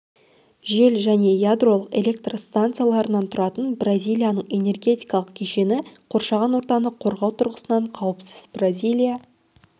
жел және ядролық электр станцияларынан тұратын бразилияның энергетикалық кешені қоршаған ортаны корғау тұрғысынан қауіпсіз бразилия